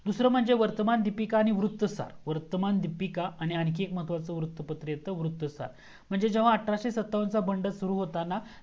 दूसरा म्हणजे वर्तमान दीपिका आणि वृतसार वर्तमान दीपिका आणि आणखी एक महत्वचा वर्त पत्र येतं वृतसार म्हणजे जेव्हा अठराशे सत्तावन चा बंड सुरू होताना